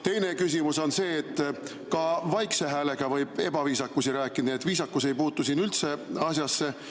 Teine küsimus on see, et ka vaikse häälega võib ebaviisakusi rääkida, nii et viisakus ei puutu siin üldse asjasse.